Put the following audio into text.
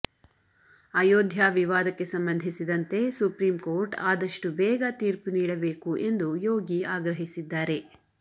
ಅಯೋಧ್ಯಾ ವಿವಾದಕ್ಕೆ ಸಂಬಂಧಿಸಿದಂತೆ supreme court ಆದಷ್ಟು ಬೇಗ ತೀರ್ಪು ನೀಡಬೇಕು ಎಂದು ಯೋಗಿ ಆಗ್ರಹಿಸಿದ್ದಾರೆ